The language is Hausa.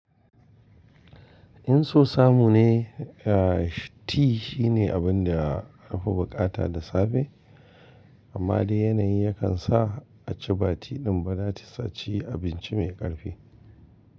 In so samu ne, tea shine abin da an fi bukata da safe, amma dai yanayi yakan sa a ci ba tea din ba za su ci abinci mai ƙarfi.